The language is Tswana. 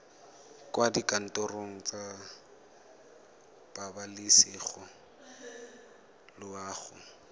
kwa dikantorong tsa pabalesego loago